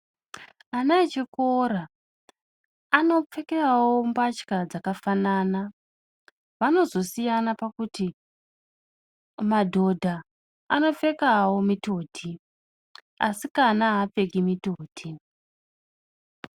Ana vechikora anopfekawo mbatya dzakafanana ,vanozosiyana pakuti madoda anopfekawo mitoti, asikana haapfeki mitoti.